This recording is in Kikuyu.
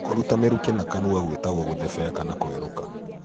Kũruta mĩrukĩ na kanũa gwĩtago gũthebea kana kwerũka.